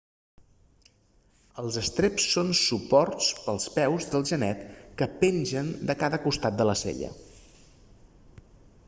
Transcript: els estreps són suports per als peus del genet que pengen de cada costat de la sella